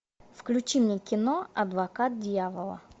включи мне кино адвокат дьявола